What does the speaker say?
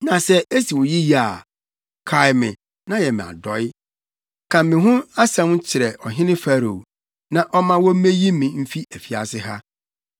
Na sɛ esi wo yiye a, kae me na yɛ me adɔe; ka me ho asɛm kyerɛ ɔhene Farao, na ɔmma wommeyi me mfi afiase ha.